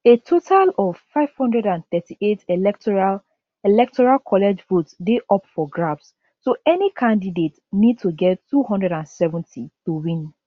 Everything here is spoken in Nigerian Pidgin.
a total of 538 electoral electoral college votes dey up for grabs so any candidate need to get 270 to win